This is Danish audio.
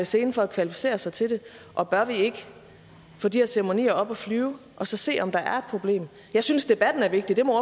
selen for at kvalificere sig til det og bør vi ikke få de her ceremonier op at flyve og så se om der er et problem jeg synes debatten er vigtig det må